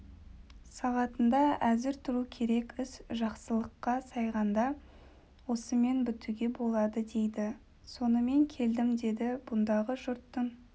сағатында әзір тұру керек іс жақсылыққа сайғанда осымен бітуге болады дейді сонымен келдім деді бұндағы жұрттың